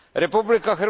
Republika